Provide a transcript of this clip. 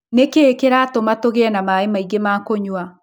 Nĩ kĩĩ kĩratũma tũgĩe na maĩ maingĩ ma kũnyua?